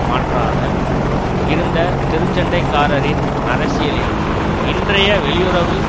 மாற்றாக இருந்த தெருச் சண்டைக்காரரின் அரசியலில் இன்றைய வெளியுறவு